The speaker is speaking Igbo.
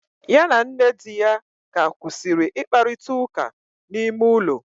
Ya na nne di ya ka kwusiri ikparita uka na ime ulo